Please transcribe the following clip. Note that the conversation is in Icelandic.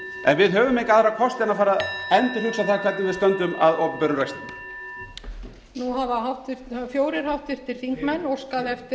en við höfum enga aðra kosti en að fara að endurhugsa það hvernig við stöndum að opinberum rekstri